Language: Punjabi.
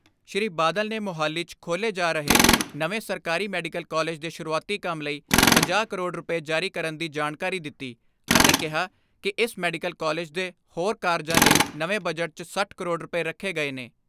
ਸ੍ਰੀ ਬਾਦਲ ਨੇ ਮੋਹਾਲੀ 'ਚ ਖੋਲ੍ਹੇ ਜਾ ਰਹੇ ਨਵੇਂ ਸਰਕਾਰੀ ਮੈਡੀਕਲ ਕਾਲਿਜ ਦੇ ਸ਼ੁਰੂਆਤੀ ਕੰਮ ਲਈ ਪੰਜਾਹ ਕਰੋੜ ਰੁਪਏ ਜਾਰੀ ਕਰਨ ਦੀ ਜਾਣਕਾਰੀ ਦਿੱਤੀ ਅਤੇ ਕਿਹਾ ਕਿ ਇਸ ਮੈਡੀਕਲ ਕਾਲਿਜ ਦੇ ਹੋਰ ਕਾਰਜਾਂ ਲਈ ਨਵੇਂ ਬਜਟ 'ਚ ਸੱਠ ਕਰੋੜ ਰੁਪਏ ਰੱਖੇ ਗਏ ਨੇ।